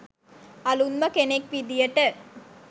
අලුත්ම කෙනෙක් විදියට